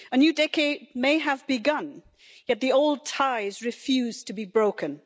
A new decade may have begun, yet the old ties refuse to be broken.